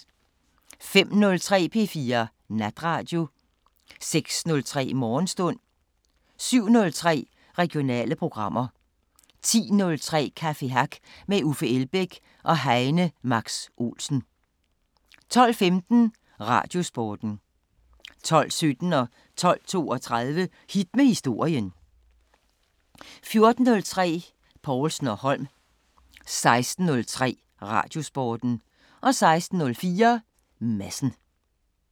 05:03: P4 Natradio 06:03: Morgenstund 07:03: Regionale programmer 10:03: Café Hack med Uffe Elbæk og Heine Max Olsen 12:15: Radiosporten 12:17: Hit med historien 12:32: Hit med historien 14:03: Povlsen & Holm 16:03: Radiosporten 16:04: Madsen